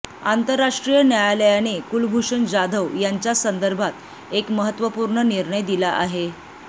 आंतरराष्ट्रीय न्यायालयाने कुलभूषण जाधव यांच्या संदर्भात एक महत्वपूर्ण निर्णय दिला आहे